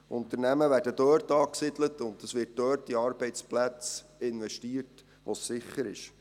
Unternehmen werden dort angesiedelt, und es wird dort in Arbeitsplätze investiert, wo es sicher ist.